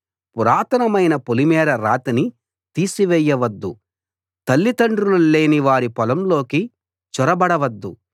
పురాతనమైన పొలిమేర రాతిని తీసివేయవద్దు తల్లిదండ్రులు లేని వారి పొలంలోకి చొరబడవద్దు